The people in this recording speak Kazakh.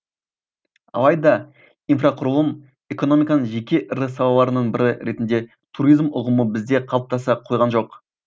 алайда инфрақұрылым экономиканың жеке ірі салаларының бірі ретінде туризм ұғымы бізде қалыптаса қойған жоқ